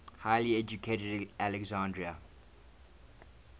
highly educated alexandrian